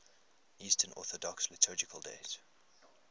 eastern orthodox liturgical days